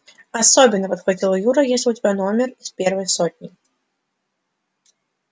особенно подхватил юра если у тебя номер из первой сотни